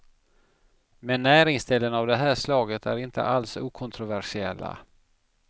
Men näringsställen av det här slaget är alls inte okontroversiella.